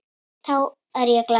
Þá er ég glaður.